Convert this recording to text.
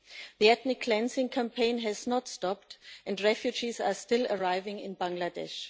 The ethnic cleansing campaign has not stopped, and refugees are still arriving in Bangladesh.